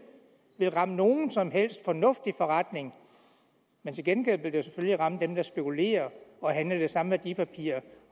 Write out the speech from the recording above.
vil ramme nogen som helst fornuftig forretning til gengæld vil det selvfølgelig ramme dem der spekulerer og handler det samme værdipapir